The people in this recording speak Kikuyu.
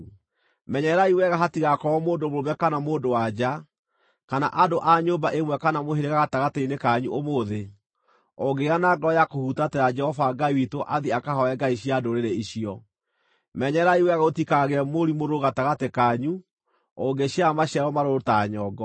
Menyererai wega hatigakorwo mũndũ mũrũme kana mũndũ-wa-nja, kana andũ a nyũmba ĩmwe kana mũhĩrĩga gatagatĩ-inĩ kanyu ũmũthĩ, ũngĩgĩa na ngoro ya kũhutatĩra Jehova Ngai witũ athiĩ akahooe ngai cia ndũrĩrĩ icio; menyererai wega gũtikagĩe mũri mũrũrũ gatagatĩ kanyu ũngĩciara maciaro marũrũ ta nyongo.